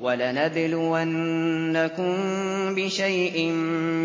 وَلَنَبْلُوَنَّكُم بِشَيْءٍ